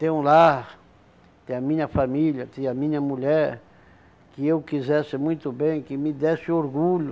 Ter um lar, ter a minha família, ter a minha mulher, que eu quisesse muito bem, que me desse orgulho,